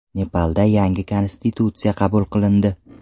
Nepalda yangi konstitutsiya qabul qilindi.